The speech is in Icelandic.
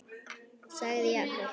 sagði Jakob.